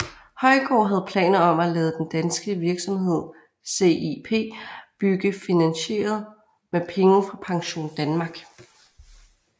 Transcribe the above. Højgaard havde planer om at lade den danske virksomhed CIP bygge finansieret med penge fra PensionDanmark